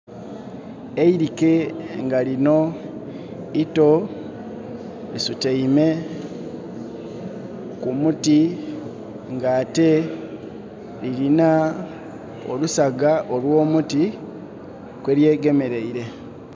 Eirike nga lino ito lisutaime ku muti ng' ate lirina olusagga olwo muti kwelye gemereire